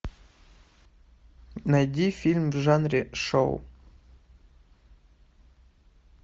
найди фильм в жанре шоу